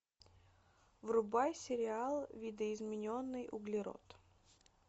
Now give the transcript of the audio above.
врубай сериал видоизмененный углерод